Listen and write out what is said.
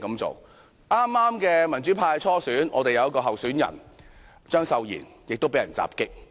在剛過去的民主派初選，有一名候選人張秀賢也被人襲擊。